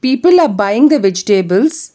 People are buying the vegetables.